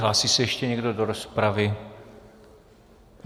Hlásí se ještě někdo do rozpravy?